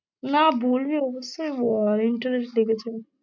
না বলবি অবশ্যই বল, interest লেগেছে।